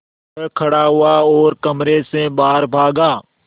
वह खड़ा हुआ और कमरे से बाहर भागा